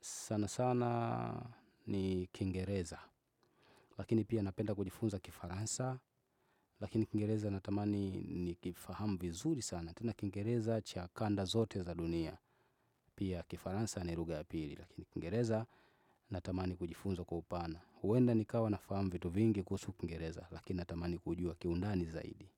sana sana ni kingereza, lakini pia napenda kujifunza kifaransa, lakini kingereza natamani nikifahamu vizuri sana, tena kiingereza cha kanda zote za dunia, pia kifaransa ni ruga ya pili, lakini kiingereza natamani kujifunza kwa upana, huenda nikawa nafahamu vitu vingi kuhusu kingereza, lakini natamani kuujua kiundani zaidi.